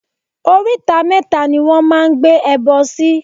Oríta mẹ́ta ni wọ́n máa ń gbé ẹbọ sí.